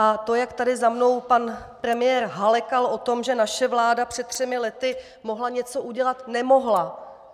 A to, jak tady za mnou pan premiér halekal o tom, že naše vláda před třemi lety mohla něco udělat - nemohla!